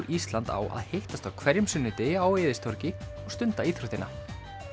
Ísland á að hittast á hverjum sunnudegi á Eiðistorgi og stunda íþróttina